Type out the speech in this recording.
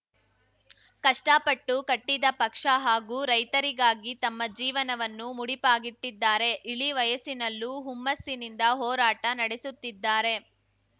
ಕಷ್ಟಪಟ್ಟು ಕಟ್ಟಿದ ಪಕ್ಷ ಹಾಗೂ ರೈತರಿಗಾಗಿ ತಮ್ಮ ಜೀವನವನ್ನು ಮುಡಿಪಾಗಿಟ್ಟಿದ್ದಾರೆ ಇಳಿವಯಸ್ಸಿನಲ್ಲೂ ಹುಮ್ಮಸ್ಸಿನಿಂದ ಹೋರಾಟ ನಡೆಸುತ್ತಿದ್ದಾರೆ